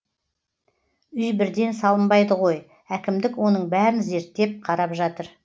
үй бірден салынбайды ғой әкімдік оның бәрін зерттеп қарап жатыр